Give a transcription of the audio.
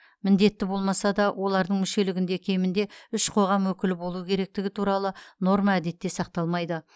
міндетті болмаса да олардың мүшелігінде кемінде үш қоғам өкілі болуы керектігі туралы норма әдетте сақталмайды